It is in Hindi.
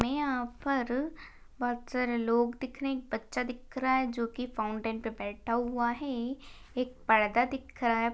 हमें यहां पर एक बहुत सारे लोग देख रहे हैं बच्चा देख रहा है जो की फाउंटेन पर बैठा हुआ है एक पर्दा दिख रहा है।